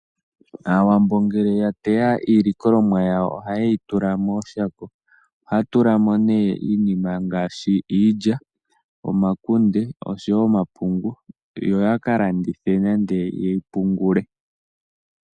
Aawambo ngele ya teya iilikolomwa yawo ohayeyi tula mooshako haya tula mo iinima ngaashi iilya, omakunde nomapungu yo yaka landithe nenge yeyi pungule.